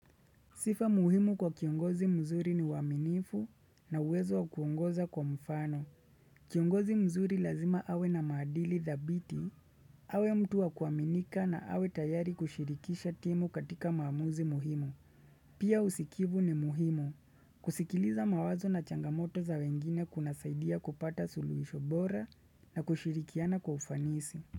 Sifa muhimu kwa kiongozi mzuri ni uwaminifu na uwezo wa kuongoza kwa mfano. Kiongozi mzuri lazima awe na maadili dhabiti, awe mtu wa kuaminika na awe tayari kushirikisha timu katika maamuzi muhimu. Pia usikivu ni muhimu, kusikiliza mawazo na changamoto za wengine kuna saidia kupata suluishobora na kushirikiana kwa ufanisi.